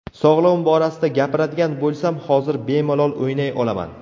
Sog‘lig‘im borasida gapiradigan bo‘lsam, hozir bemalol o‘ynay olaman.